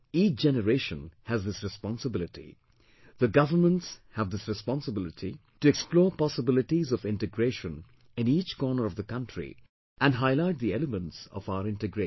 Each generation has this responsibility, the governments have this responsibility to explore possibilities of integration in each corner of the country and highlight the elements of our integration